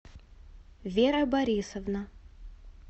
вера борисовна